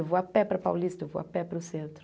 Eu vou a pé para Paulista, eu vou a pé para o centro.